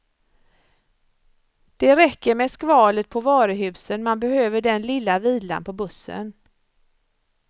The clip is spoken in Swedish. Det räcker med skvalet på varuhusen, man behöver den lilla vilan på bussen.